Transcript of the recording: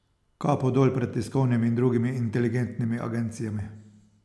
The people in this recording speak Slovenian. Kapo dol pred tiskovnimi in drugimi inteligentnimi agencijami!